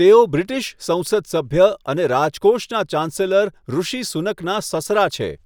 તેઓ બ્રિટિશ સંસદ સભ્ય અને રાજકોષનાં ચાન્સેલર ઋષિ સુનકનાં સસરા છે.